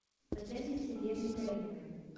татьяне сергеевне каримовой